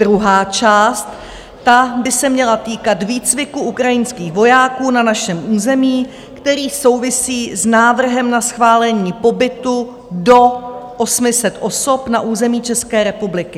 Druhá část by se měla týkat výcviku ukrajinských vojáků na našem území, který souvisí s návrhem na schválení pobytu do 800 osob na území České republiky.